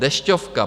Dešťovka.